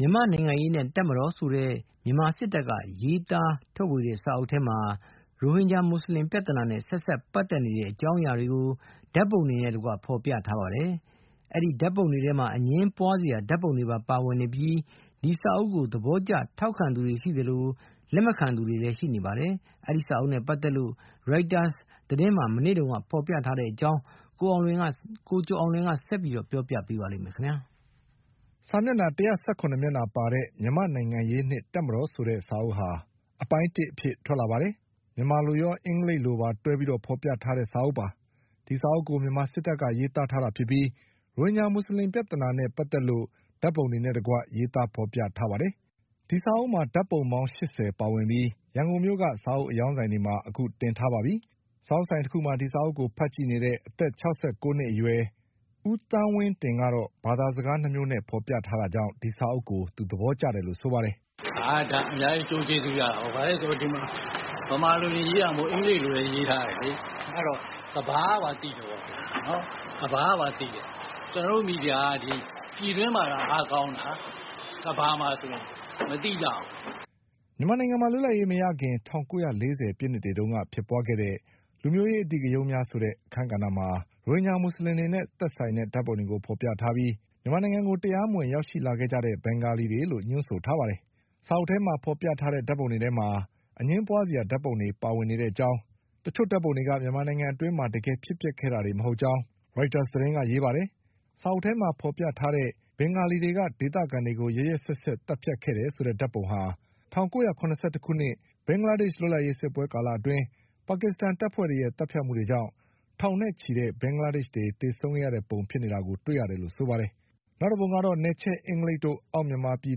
မြန်မာ့နိုင်ငံရေးနှင့်တပ်မတော်ဆိုတဲ့ မြန်မာစစ်တပ်ကရေးသားတဲ့စာအုပ်ထဲမှာ ရိုဟင်ဂျာမူဆလင်ပြဿနာနဲ့ ဆက်စပ်ပတ် သက်တဲ့အကြောင်းအရာတွေကို ဓါတ်ပုံတွေနဲ့တကွဖေါ်ပြထားပါတယ်။ အဲဒီဓါတ်ပုံတွေထဲမှာ အငြင်းပွါးစရာဓါတ်ပုံတွေပါ ဝင်နေပြီး ဒီစာအုပ်ကို သဘောကျထောက်ခံသူတွေရှိသလို လက်မခံသူတွေလည်းရှိနေပါတယ်။ ဒီစာအုပ်နဲ့ပတ်သက်လို့ Reuters သတင်းမှာမနေ့တုန်းက ဖေါ်ပြထားတဲ့အကြောင်း ကိုကျော်အောင်လွင်က ဆက်ပြီးပြောပြပါလိမ့်မယ်။ စာမျက်နှာ၁၁၇မျက်နှာပါတဲ့ မြန်မာ့နိုင်ငံရေးနှင့်တပ်မတော် ဆိုတဲ့စာအုပ်ဟာ အပိုင်းတစ်အဖြစ်ထွက်လာပါတယ်။ စာအုပ်ဟာ မြန်မာလိုရော အင်္ဂလိပ်လိုပါတွဲပြီး ဖေါ် ပြထားတဲ့စာအုပ်ပါ။ ဒီစာအုပ်ကို မြန်မာစစ်တပ်ကရေးသားထားတာဖြစ်ပြီး ရိုဟင်ဂျာမူဆလင်ပြဿနာနဲ့ပတ်သက်လို့ ဓါတ် ပုံတွေနဲ့တကွရေး သားဖေါ်ပြထားတာပါ။ ဒီစာအုပ်မှာဓါတ်ပုံ ပေါင်း၈၀ ပါဝင်ပြီး ရန်ကုန်မြို့ကစာအုပ်အရောင်း ဆိုင် တွေမှာအခုတင်ထားပါပြီ။ စာအုပ်ဆိုင်တခုမှာ ဒီစာအုပ်ကိုဖတ်ကြည့်နေတဲ့ အသက်၆၉နှစ်အရွယ် ဦးသန်းဝင်းတင် ကတော့ ဘာသာစကား၂ မျိုးနဲ့ဖေါ်ပြထားတာကြောင့် ဒီစာအုပ်ကို သဘောကျတယ်လို့ဆိုပါတယ်။ “ဒါ အများကြီး အကျိုးကျေးဇူးရတာပေါ့။ ဘာဖြစ်လို့လဲဆိုတော့ ဗမာလိုတင်ရေးထားတာမဟုတ်ဘူး၊ အင်္ဂလိပ်လိုလည်း ရေးထားတယ်ဆိုတော့ ကမ္ဘာကပါ သိတယ်။ ကျနော်တို့ မီဒီယာက ပြည်တွင်းမှာသာ အားကောင်းတာ။ ကမ္ဘာမှာဆို မသိကြဘူး။ ” မြန်မာနိုင်ငံမှာ လွတ်လပ်ရေးမရခင် ၁၉၄၀ပြည့်နှစ်တွေတုန်းကဖြစ်ပွါးခဲ့တဲ့ လူမျိုးရေးအဓိဂရုဏ်းများဆိုတဲ့ အခန်းကဏ္ဍမှာ ရိုဟင် ဂျာမူဆလင်တွေနဲ့ဆိုင်တဲ့ဓါတ်ပုံတွေကိုဖေါ်ပြထားပြီး မြန်မာနိုင်ငံကိုတရားမဝင်ရောက်ရှိလာတဲ့ ဘင်္ဂလီတွေလို့ ညွှန်းဆို ထားပါတယ်။ စာအုပ်ထဲမှာဖေါ်ပြထားတဲ့ ဓါတ်ပုံတွေထဲမှာ အငြင်းပွါးစရာဓါတ်ပုံတွေပါဝင်နေတဲ့ အကြောင်း တချို့ဓါတ်ပုံ တွေက မြန်မာနိုင်ငံအတွင်းမှာ တကယ်ဖြစ်ပျက်ခဲ့တာတွေမဟုတ်ကြောင်း ရိုက်တာစ်သတင်းက ရေးပါတယ်။ စာအုပ်ထဲမှာဖေါ်ပြထားတဲ့ ဘင်္ဂလီတွေက ဒေသခံတွေကိုရက်ရက်စက်စက်သတ်ဖြတ်ခဲ့တယ်ဆိုတဲ့ဓါတ်ပုံဟာ ၁၉၇၁ ခုနှစ် ဘင်္ဂလားဒေ့ချ် လွတ်လပ် ရေးစစ်ပွဲကာလအတွင်း ပါကစ္စတန်တပ်ဖွဲ့တွေရဲ့သတ်ဖြတ်မှုကြောင့် ထောင်နဲ့ချီတဲ့ ဘင်္ဂလား ဒေ့ချ်တွေသေဆုံးခဲ့ ရတဲ့ပုံ ဖြစ်နေတာကိုတွေရတယ်လို့ဆိုပါတယ်။ နောက်တပုံကတော့ နယ်ချဲ့အင်္ဂလိပ်တို့ အောက်မြန်မာ ပြည်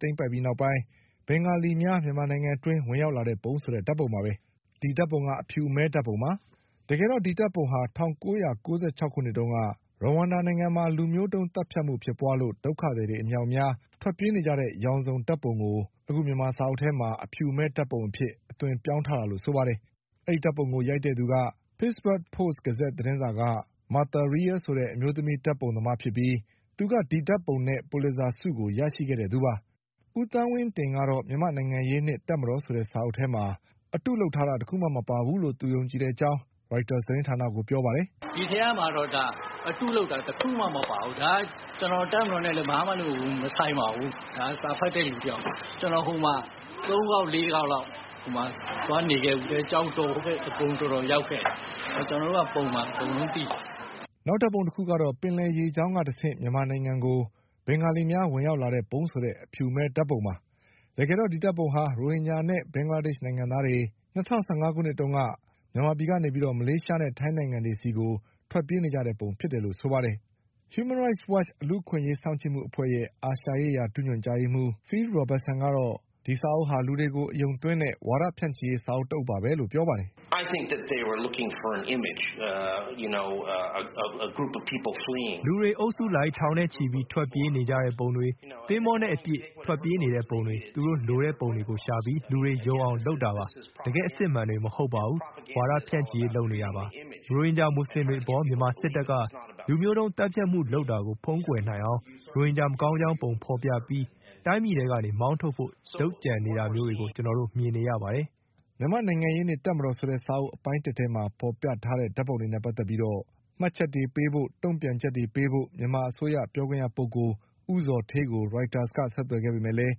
သိမ်းပိုက်ပြီးနောက် ဘင်္ဂလီများ မြန်မာနိုင်ငံအတွင်းဝင်ရောက်လာပုံဆိုတဲ့ ဓါတ်ပုံပါပဲ။ ဒီဓါတ်ပုံက အဖြူအမဲဓါတ်ပုံပါ။ တကယ်တော့ ဒီဓါတ်ပုံဟာ ၁၉၉၆ ခုနှစ်တုန်းက ရဝမ်ဒါနိုင်ငံမှာ လူမျိုးတုန်း သတ်ဖြတ်မှုဖြစ်ပွါးလို့ ဒုက္ခသည်တွေအမြောက် အများထွက်ပြေးနေကြတဲ့ ရောင်စုံဓါတ်ပုံကို မြန်မာစာအုပ်ထဲမှာ အဖြူအမဲဓါတ်ပုံအဖြစ်အသွင်ပြောင်းထားတာလို့ဆိုပါ တယ်။ ဒီဓါတ်ပုံကို ရိုက်တဲ့သူက Pittsburgh Post- Gazette သတင်းစာက Martha Rial ဆိုတဲ့အမျိုးသမီးဓါတ်ပုံသမား ဖြစ်ပြီးသူက ဒီဓါတ်ပုံနဲ့ ပူလစ်ဇာဆုကိုရရှိခဲ့သူပါ။ ဦးသန်းဝင်းတင်ကတော့ မြန်မာ့နိုင်ငံရေးနှင့်တပ်မတော်ဆိုတဲ့စာအုပ် ထဲမှာ အတုလုပ် တာတခုမှမပါဘူးလို့ယုံကြည်တဲ့အကြောင်း ရိုက်တာစ်သတင်းဌာနကိုပြောပါတယ်။ “ဒီထဲမှာတော့ အတုလုပ်တာ တခုမှမပါဘူး။ ကျနော် တပ်မတော်နဲ့လည်း ဘာမှမဆိုင်ပါဘူး။ ကျနော် စာဖတ်တဲ့လူတယောက်ပါ။ ကျနော် ဟိုမှာ သုံးခေါက် လေးခေါက်လောက် သွားနေခဲ့ဖူးတယ်။ ကျောက်တော်တို့ အကုန် ရောက်ခဲ့တယ်။ ကျနော်တို့က…..အကုန်လုံးသိတယ်။” နောက်ဓါတ်ပုံ တခုကတော့ ပင်လယ်ရေးကြောင်းကတဆင့် မြန်မာနိုင်ငံကို ဘင်္ဂါလီများဝင်ရောက်လာပုံဆိုတဲ့ အဖြူအမဲဓါတ်ပုံပါ။ တကယ်တော့ဒီဓါတ်ပုံဟာ ရိုဟင်ဂျာနဲ့ ဘင်္ဂလားဒေ့ချ်နိုင်ငံသားတွေ ၂၀၁၅ခုနှစ်တုန်းက မြန်မာပြည် ကနေမလေးရှားနဲ့ ထိုင်းနိုင်ငံတွေဆီကိုထွက်ပြေးကြတဲ့ပုံဖြစ်နေတယ်လို့ဆိုပါတယ်။ Human Rights Watch လူ့အခွင့် အရေးစောင့်ကြည့် မှုအဖွဲ့ရဲ့ အာရှရေးရာ ဒုညွှန်ကြားရေးမှုး Phil Robertsonကတော့ ဒီစာအုပ်ဟာ လူတွေကို အယုံသွင်း တဲ့ဝါဒဖြန့်ချိရေး စာအုပ်တအုပ်ပဲလို့ဆိုပါတယ်။ “လူတွေအုပ်စုလိုက် ထောင်နဲ့ချီပြီးထွက်ပြေးနေကြတဲ့ပုံ၊ သင်္ဘောနဲ့အပြည့်အကျပ်ထွက်ပြေးနေတဲ့ ပုံတွေ၊ သူတို့လိုတဲ့ ပုံတွေကိုရှာပြီး လူတွေကိုယုံအောင်လုပ်တာပါ။ တကယ့်အစစ်အမှန်တွေမဟုတ်ပါဘူး၊ ဝါဒဖြန့်ချိရေးလုပ်နေတာပါပဲ။ ရိုဟင်ဂျာမူဆလင်တွေအပေါ် မြန်မာစစ်တပ်ကလူမျိုးတုန်းသတ်ဖြတ်မှုလုပ်တာကို ဖုံးကွယ်နိုင်အောင် ရိုဟင်ဂျာမကောင်း ကြောင်းပုံဖေါ်ပြီး ရိုဟင်ဂျာတွေကိုတိုင်းပြည်ထဲကနေမောင်းထုတ်ဖို့လုပ်ကြံနေတာမျိုးတွေကို ကျနော်တို့မြင်နေရပါတယ်။” မြန်မာ့နိုင်ငံရေးနှင့်တပ်မတော်အပိုင်းတစ်စာအုပ်ထဲမှာဖေါ်ပြထားတဲ့ ဓါတ်ပုံတွေနဲ့ပတ်သက်ပြီး မှတ်ချက်တွေပေးဖို့၊ တုန့် ပြန်ချက်တွေပေးဖို့ မြန်မာအစိုးရပြောခွင့်ရပုဂ္ဂိုလ် ဦးဇော်ဌေးကိုရိုက်တာစ်က ဆက်သွယ်ခဲ့ပေမဲ့လည်း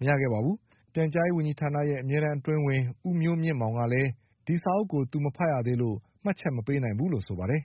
မရခဲ့ပါဘူး။ ပြန် ကြားရေးဝန်ကြီးဌာနရဲ့ အမြဲတန်းအတွင်းဝန် ဦးမျိုးမြင့်မောင်ကလည်း ဒီစာအုပ်ကိုသူမဖတ်ရသေးလို့ မှတ်ချက်မပေးနိုင် ဘူးလို့ဆိုပါတယ်။